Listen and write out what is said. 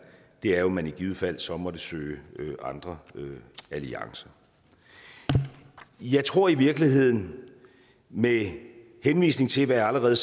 er jo at man i givet fald så måtte søge andre alliancer jeg tror i virkeligheden med henvisning til hvad jeg allerede